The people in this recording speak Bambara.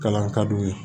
Kalan ka d'u ye